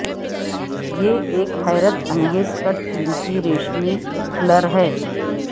یہ ایک حیرت انگیز کٹ قیمتی ریشمی فلر ہے